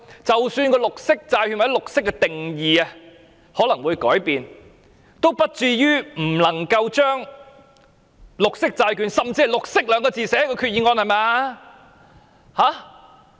即使綠色債券或綠色的定義可能會改變，也不至於不能將綠色債券，甚至綠色二字寫在決議案內吧！